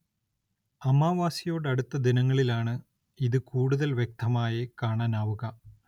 അമാവാസിയോടടുത്ത ദിനങ്ങളിലാണ് ഇത് കൂടുതൽ വ്യക്തമായി കാണാനാവുക.